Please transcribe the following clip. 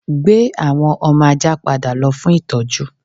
Gbé àwọn ọmọ ajá padà lọ fún ìtọ́jú